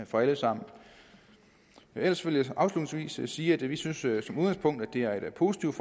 for alle sammen ellers vil jeg afslutningsvis sige at vi synes at det er et positivt